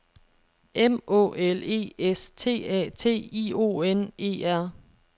M Å L E S T A T I O N E R